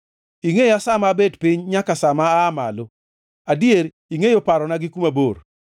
Ingʼeya sa ma abet piny nyaka sa ma aa malo; adier, ingʼeyo parona gi kuma bor.